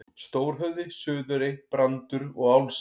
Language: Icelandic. Stórhöfði, Suðurey, Brandur og Álfsey.